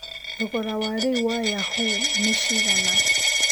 thogora wa rĩu wa yahoo nĩ cigana